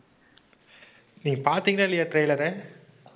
நீங்க பார்த்தீங்களா இல்லயா trailer ஐ